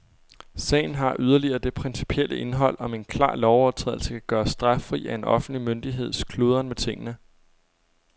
Sagen har yderligere det principielle indhold, om en klar lovovertrædelse kan gøres straffri af en offentlig myndigheds kludren med tingene.